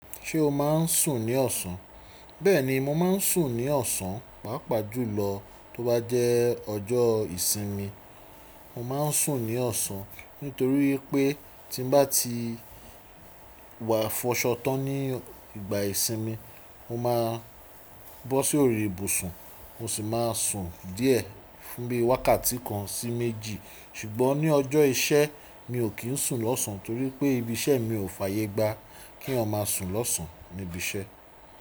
Ṣé o má ń sùn ní ọ̀sán? Bẹ́ẹ̀ni, mo ma ń sùn ní ọ̀sán, pàápàá jùlọ tó bá jẹ́ ọjọ́ ìsinmi. Mo ma ń sùn ní ọ̀sán nítorí pé tí n bá ti wà fọ́ṣọ́ tán ní ìgbà ìsinmi, mo máa bọ́ sí orí ìbùsùn mo sì máa sùn díẹ̀ fún bí i wákàtí kan sí méjì. Ṣùgbọ́n ní ọjọ́ iṣẹ́ mi ò kí ń sùn lọ́sàn-án torí pé ibi iṣẹ́ mi ò fàyè gbá kí wọn máa sùn lọ́sàn-án níbi iṣẹ́.